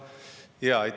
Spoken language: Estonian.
Ahah!